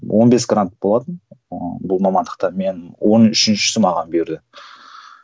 он бес грант болатын ыыы бұл мамандықта мен он үшіншісі маған бұйырды